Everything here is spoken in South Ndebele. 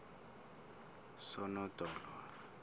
sonodolo